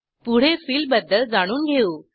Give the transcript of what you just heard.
पुढे फिल बद्दल जाणून घेऊ